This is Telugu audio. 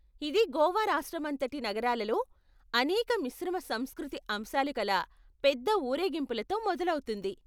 ఇది గోవా రాష్ట్రమంతటి నగరాలలో అనేక మిశ్రమ సంస్కృతి అంశాలు కల పెద్ద ఊరేగింపులతో మొదలవుతుంది.